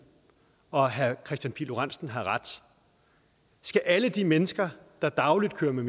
og herre kristian pihl lorentzen har ret skal alle de mennesker der dagligt kører med